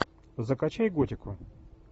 закачай готику